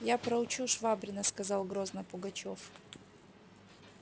я проучу швабрина сказал грозно пугачёв